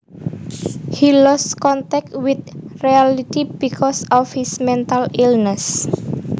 He lost contact with reality because of his mental illness